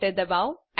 enter દબાઓ